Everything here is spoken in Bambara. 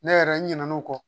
Ne yɛrɛ n ɲinɛna o kɔ